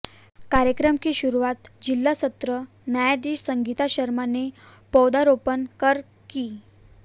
कार्यक्रम की शुरुआत जिला सत्र न्यायाधीश संगीता शर्मा ने पौधरोपण कर की